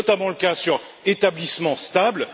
c'est notamment le cas pour établissement stable.